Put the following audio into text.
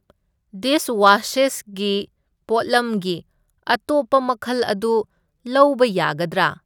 ꯗꯤꯁꯋꯥꯁꯦꯁꯒꯤ ꯄꯣꯠꯂꯝꯒꯤ ꯑꯇꯣꯞꯄ ꯃꯈꯜ ꯑꯗꯨ ꯂꯧꯕ ꯌꯥꯒꯗ꯭ꯔꯥ?